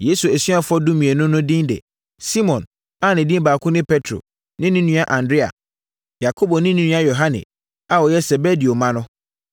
Yesu asuafoɔ dumienu no din nie: Simon a ne din baako ne Petro ne ne nua Andrea; Yakobo ne ne nua Yohane a wɔyɛ Sebedeo mma no,